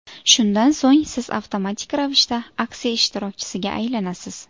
Shundan so‘ng siz avtomatik ravishda aksiya ishtirokchisiga aylanasiz.